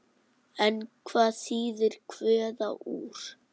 En hvað þýðir kveða úr?